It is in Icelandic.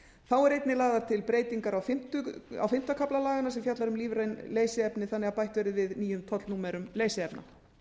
þá er einnig lagðar til breytingar á fimmta kafla laganna sem fjallar um lífræn leysiefni þannig að bætt verði við nýjum tollnúmerum leysiefna